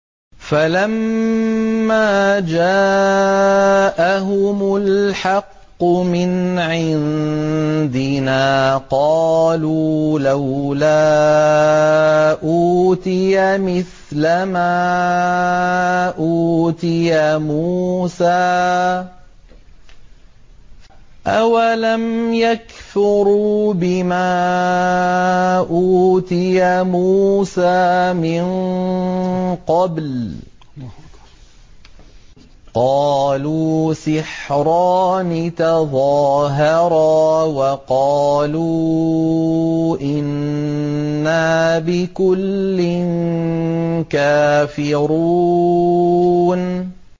فَلَمَّا جَاءَهُمُ الْحَقُّ مِنْ عِندِنَا قَالُوا لَوْلَا أُوتِيَ مِثْلَ مَا أُوتِيَ مُوسَىٰ ۚ أَوَلَمْ يَكْفُرُوا بِمَا أُوتِيَ مُوسَىٰ مِن قَبْلُ ۖ قَالُوا سِحْرَانِ تَظَاهَرَا وَقَالُوا إِنَّا بِكُلٍّ كَافِرُونَ